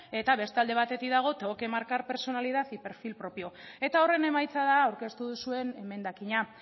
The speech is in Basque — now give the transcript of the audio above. eta beste alde batetik dago tengo que marcar personalidad y perfil propio eta horren emaitza da aurkeztu duzuen emendakina